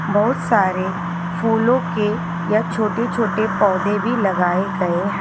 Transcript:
बहोत सारे फूलों के यह छोटे छोटे पौधे भी लगाए गए हैं।